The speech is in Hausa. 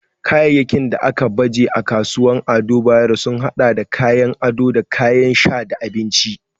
Kayayyakin da aka baje a kasuwar Ado Bayero sun hada da kayan ado da kayan sha da abinci.